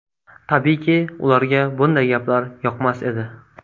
Tabiiyki, ularga bunday gaplar yoqmas edi.